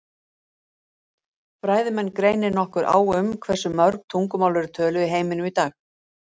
Fræðimenn greinir nokkuð á um það hversu mörg tungumál eru töluð í heiminum í dag.